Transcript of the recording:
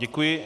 Děkuji.